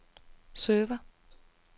server